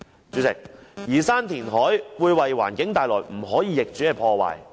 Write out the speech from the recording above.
主席，移山填海會為環境帶來不可逆轉的破壞。